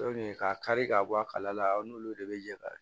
ka kari ka bɔ a kala la aw n'olu de bɛ yala